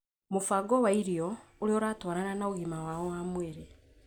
mũbango wa irio ũrĩa ũratwarana na ũgima wao wa mwĩrĩ.